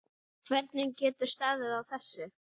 Hvernig getur staðið á þessu.